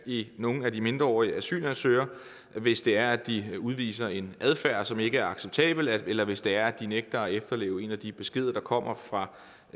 i nogle af de mindreårige asylansøgere hvis det er at de udviser en adfærd som ikke er acceptabel eller hvis det er at de nægter at efterleve en af de beskeder der kommer fra